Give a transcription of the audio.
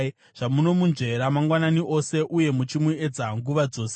zvamunomunzvera mangwanani ose uye muchimuedza nguva dzose?